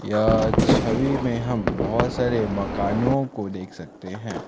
इस छवि में हम बहुत सारे मकानो को देख सकते हैं।